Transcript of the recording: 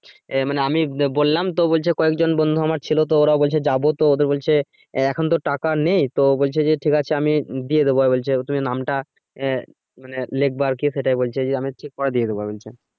আহ আমি বললাম তো যে কয়েকজন বন্ধু আমার ছিলো তো ওরাও বলছে যাবো তো ওদের বলছে আহ এখন তো টাকা নেই। তো বলছে যে ঠিক আছে আমি দিয়ে দিবো আবার বলছে তুমি নামটা আহ মানে লেখবা আরকি সেটাই বলছে যে আমি হচ্ছে পরে দিয়ে দিবো বলছে।